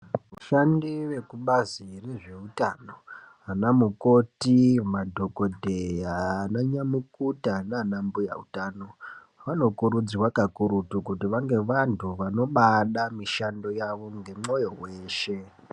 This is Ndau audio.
Vashabdi vekubazi rezveutano ana mukoti madhokodheya ana nyamukuta nanan mbuya utano vanokurudzirwa kakurutu kuti vange vantu vanobaada mushando yawo ngemwoyo weshe.